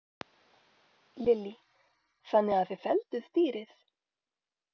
Lillý: Þannig að þið fellduð dýrið?